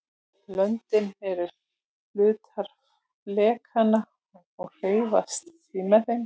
löndin eru hlutar flekanna og hreyfast því með þeim